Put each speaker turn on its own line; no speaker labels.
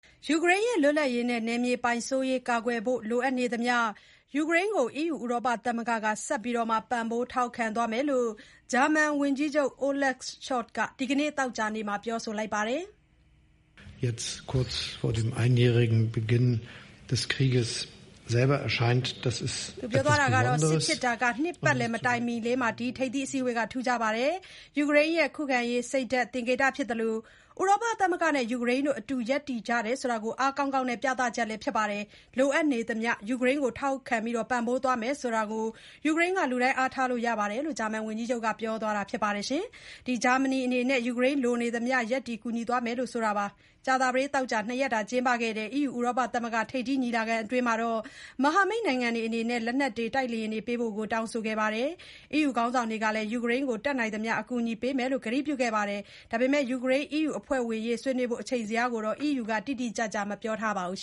ယူကရိန်းရဲ့ လွတ်လပ်ရေးနဲ့ နယ်မြေပိုင်စိုးရေးကာကွယ်ဖို့ လိုအပ်နေသမျှ ယူကရိန်းကို ဥရောပသမဂ္ဂက ဆက်လက် ပံ့ပိုးထောက်ခံမယ်လို့ ဂျာမန်ဝန်ကြီးချုပ် Olaf Scholz က ဒီနေ့ သောကြာနေ့မှာ ပြောလိုက်ပါတယ်။ “
စစ်ဖြစ်
တာ နှစ်ပတ်လည်မတိုင်မီလေးမှာ ဒီထိပ်သီးအစည်းအဝေးက ထူးခြားပါတယ်။ ယူကရိန်းရဲ့ ခုခံရေး စိတ်ဓာတ်သင်္ကေတ ဖြစ်သလို၊ ဥရောပသမဂ္ဂနဲ့ ယူကရိန်းတို့ အတူရပ်တည်ကြတာကို အားကောင်းကောင်းနဲ့ ပြသချက်လည်း ဖြစ်ပါတယ်။ လိုအပ်နေသမျှ ယူကရိန်းကို ထောက်ခံပံ့ပိုးသွားမယ်ဆိုတာကို ယူကရိန်းက လူတိုင်း အားထားလို့ ရပါတယ်။” လို့ ဂျာမန်ဝန်ကြီးချုပ်က ပြောသွားတာပါ။ ဂျာမနီအနေနဲ့ ယူကရိန်းလိုနေသမျှ ရပ်တည်ကူညီသွားမယ်လို့လည်း ဝန်ကြီးချုပ် Scholz ကပြောပါတယ်။ ကြာသပတေး၊ သောကြာ ၂ ရက်ကျင်းပခဲ့တဲ့ EU ဥရောပသမဂ္ဂ ထိပ်သီးညီလာခံအတွင်း မဟာမိတ်နိုင်ငံတွေအနေနဲ့ လက်နက်တွေ၊ တိုက်လေယာဉ်တွေပေးဖို့ တောင်းဆိုခဲ့ပါတယ်။ EU ခေါင်းဆောင်တွေကလည်း ယူကရိန်းကို တတ်နိုင်သမျှ အကူအညီပေးမယ်လို့ ကတိပြုခဲ့ကြပါတယ်။ ယူကရိန်း အီးယူ အဖွဲ့ဝင်ဖြစ်ရေး ဆွေးနွေးဖို့ အချိန်ဇယားကိုတော့ အီးယူက တိတိကျကျ မပြောပါဘူး